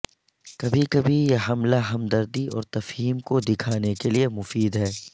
کبھی کبھی یہ حملہ ہمدردی اور تفہیم کو دکھانے کے لئے مفید ہے